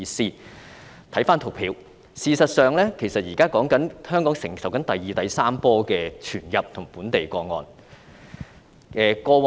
參看圖表，事實上，香港現時正承受第二、第三波的傳入及本地個案。